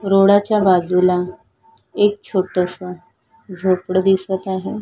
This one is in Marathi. रोडा च्या बाजूला एक छोटस झोपड दिसत आहे.